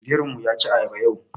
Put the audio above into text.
Birin mu yaci ayaba yau.